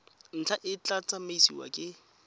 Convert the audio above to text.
ntlha e tla tsamaisiwa ke